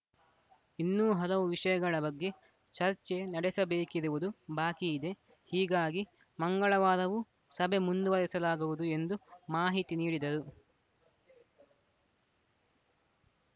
ಇನ್ನೂ ಹಲವು ವಿಷಯಗಳ ಬಗ್ಗೆ ಚರ್ಚೆ ನಡೆಸಬೇಕಿರುವುದು ಬಾಕಿ ಇದೆ ಹೀಗಾಗಿ ಮಂಗಳವಾರವೂ ಸಭೆ ಮುಂದುವರೆಸಲಾಗುವುದು ಎಂದು ಮಾಹಿತಿ ನೀಡಿದರು